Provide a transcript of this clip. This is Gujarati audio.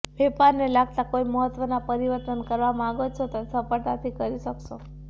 વેપારને લાગતા કોઈ મહત્વના પરિવર્તન કરવા માંગો છો તો તે સફળતાથી કરી શકશો